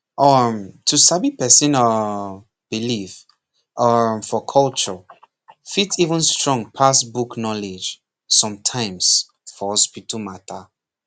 um to sabi person um belief um for culture fit even strong pass book knowledge sometimes for hospital matter